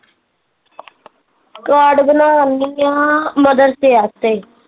card ਬਣਾਉਣ ਦਈ ਆ mother ਸਿਆ ਤੇ